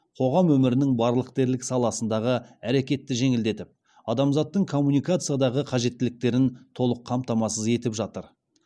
қоғам өмірінің барлық дерлік саласындағы әрекетті жеңілдетіп адамзаттың коммуникациядағы қажеттіліктерін толық қамтамасыз етіп жатыр